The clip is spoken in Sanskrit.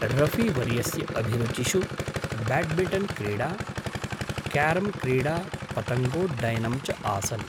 रफ़ी वर्यस्य अभिरुचिषु ब्याड्मिण्टन्क्रीडा, क्यारम्क्रीडा, पतङ्गोड्डयनं च आसन्।